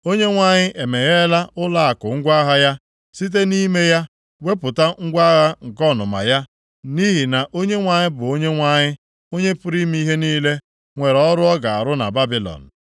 Onyenwe anyị emegheela ụlọakụ ngwa agha ya, site nʼime ya wepụta ngwa agha nke ọnụma ya. Nʼihi na Onyenwe anyị bụ Onyenwe anyị, Onye pụrụ ime ihe niile nwere ọrụ ọ ga-arụ nʼala Babilọn.